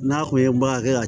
N'a kun ye baara kɛ ka